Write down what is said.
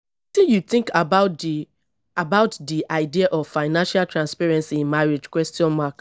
tin you think about di about di idea of financial transparency in marriage question mark